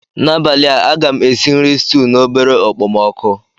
N'abalị a, a ga m esi nri stuu na obere okpomọkụ.